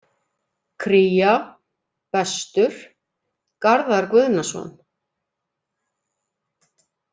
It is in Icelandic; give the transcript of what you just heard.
Kría: Bestur: Garðar Guðnason